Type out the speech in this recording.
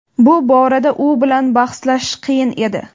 Bu borada u bilan bahslashish qiyin edi.